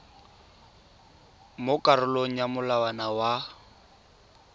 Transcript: mo karolong ya molawana wa